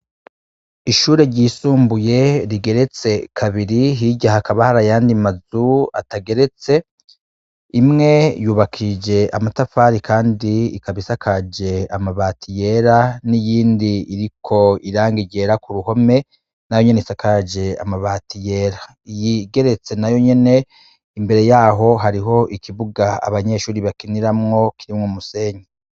Ishure ryisumbuye rigeretse kabiri, hirya hakaba hari ayandi mazu atageretse, imwe yubakishije amatafari kandi ikaba isakaje amabati yera, n'iyindi iriko irangi ryera k'uruhome, nayo nyene isakaje amabati yera, iyigeretse nayo nyene imbere yaho hariho ikibuga abanyeshure bakiniramwo m'umusenyi.